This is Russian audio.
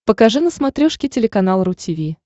покажи на смотрешке телеканал ру ти ви